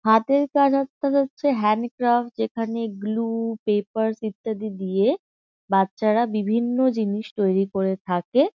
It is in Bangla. হাতের কাজ আপনাদের হচ্ছে হ্যান্ড ক্রাফট যেখানে গ্লু পেপারস ইত্যাদি দিয়ে বাচ্চারা বিভিন্ন জিনিস তৈরী করে থাকে।